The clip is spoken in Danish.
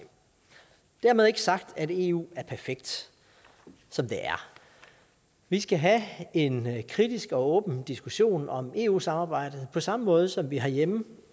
dermed er ikke sagt at eu er perfekt som det er vi skal have en kritisk og åben diskussion om eu samarbejdet på samme måde som vi herhjemme